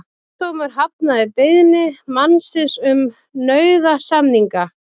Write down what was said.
Héraðsdómur hafnaði beiðni mannsins um nauðasamninga